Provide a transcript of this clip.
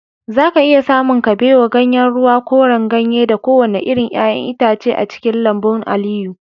zaka iya samun kabewa, ganyen ruwa, koren ganye da kowane irin 'ya'yan itace a cikin lambun Aliyu